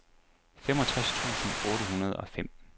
femogtres tusind otte hundrede og fem